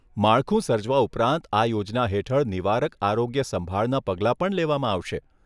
માળખું સર્જવા ઉપરાંત આ યોજના હેઠળ નિવારક આરોગ્ય સંભાળના પગલાં પણ લેવામાં આવશે.